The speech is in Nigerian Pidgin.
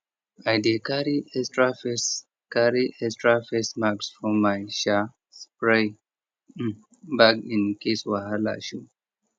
i dey carry extra face carry extra face mask for my um spray um bag in case wahala show